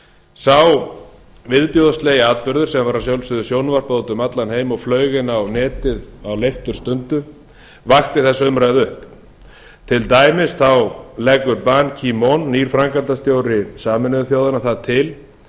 sá viðbjóðslega atburður sem var að sjálfsögðu sjónvarpað út um allan heim og flaug inn á netið á leifturstundu vakti þessa umræðu upp til dæmis leggur ban kimon nýr framkvæmdastjóri sameinuðu þjóðanna það til